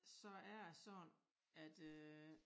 Så er det sådan at øh